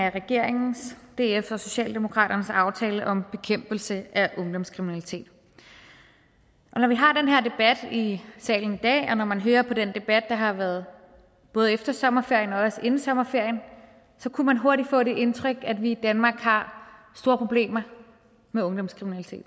af regeringens dfs og socialdemokratiets aftale om bekæmpelse af ungdomskriminalitet når vi har den her debat i salen i dag og når man hører på den debat der har været både efter sommerferien og inden sommerferien så kunne man hurtigt få det indtryk at vi i danmark har store problemer med ungdomskriminalitet